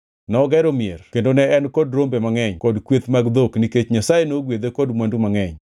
Nogero mier kendo ne en kod rombe mangʼeny kod kweth mag dhok nikech Nyasaye nogwedhe kod mwandu mangʼeny.